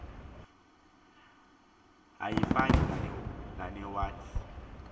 ayifani nenye wath